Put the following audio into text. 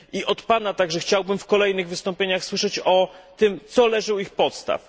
Od Pana także chciałbym w kolejnych wystąpieniach słyszeć o tym, co leży u jego podstaw.